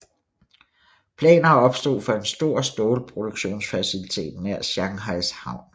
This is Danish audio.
Planer opstod for en stor stålproduktionsfacilitet nær Shanghais havn